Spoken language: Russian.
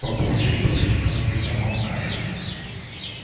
папульчик потрясённый замолкает